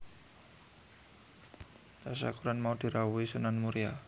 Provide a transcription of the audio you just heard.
Tasyakuran mau dirawuhi Sunan Muria